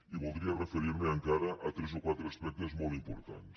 i voldria referir me encara a tres quatre aspectes molt importants